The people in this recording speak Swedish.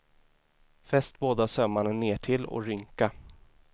Fäst båda sömmarna nertill och rynka.